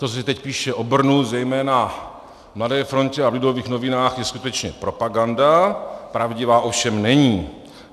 To, že se teď píše o Brnu, zejména v Mladé frontě a v Lidových novinách, je skutečně propaganda, pravdivá ovšem není.